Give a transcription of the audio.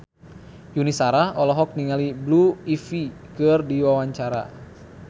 Yuni Shara olohok ningali Blue Ivy keur diwawancara